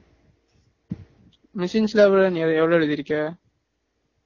machines லாம் எவ்ளோ நீ எவ்ளோ எழுதிருக்கா